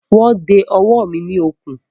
Wọ́n de ọwọ́ mi ní okùn.